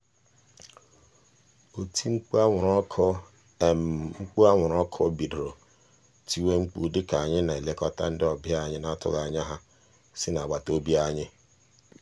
oti mkpu anwụrụ ọkụ mkpu anwụrụ ọkụ bidoro tiwe mkpu dịka anyị na-elekọta ndị ọbịa anyị n'atụghị anya ha si n'agbataobi anyị.